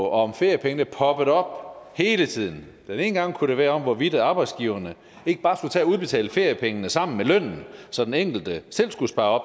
om feriepengene poppet op hele tiden den ene gang kunne det være om hvorvidt arbejdsgiverne ikke bare skulle tage at udbetale feriepengene sammen med lønnen så den enkelte selv skulle spare